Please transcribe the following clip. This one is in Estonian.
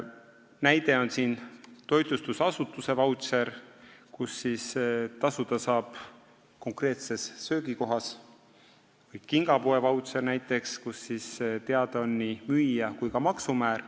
Näiteks võib siin tuua toitlustusasutuse vautšeri, millega saab tasuda konkreetses söögikohas, või kingapoe vautšeri, mille puhul on teada nii müüja kui ka maksumäär.